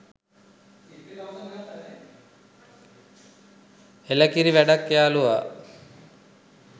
එළකිරි වැඩක් යාලුවා